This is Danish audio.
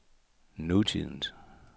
nutidens